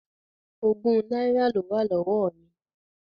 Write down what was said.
Ogún náírà ló wà lọ́wọ́ mi.